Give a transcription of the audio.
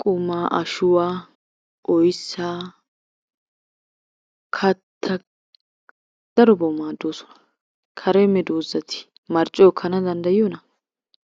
qumaa, ashshuwaa, oyssaa, kattaa, darobawu maaddoosona. Kare meedosati marccuwaa ekkanawu danddayiyoona?